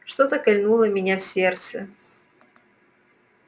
что-то кольнуло меня в сердце